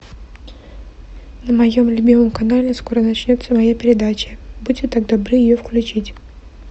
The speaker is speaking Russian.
на моем любимом канале скоро начнется моя передача будьте так добры ее включить